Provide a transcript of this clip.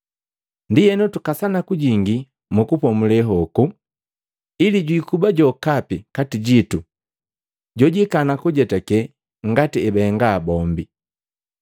Ndienu tukasana kujingi mu kupomule hoku, ili jwiikuba jokapi kati jitu jojikana kujetake ngati ebahenga bombi.